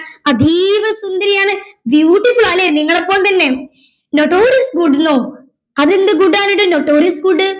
അതീവ സുന്ദരിയാണ് beautiful ആ അല്ലെ നിങ്ങളെ പോലെത്തന്നെ notorius good നു അതെന്ത് good ആണെടോ notorius good